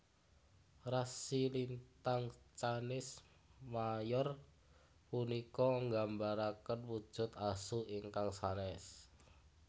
Rasi lintang Canis Major punika nggambaraken wujud Asu ingkang sanès